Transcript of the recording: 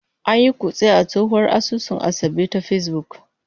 An yi kutse a tsohuwar asusun Asabe ta Facebook.